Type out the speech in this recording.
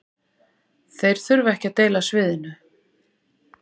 Þeir þurfa ekki að deila sviðinu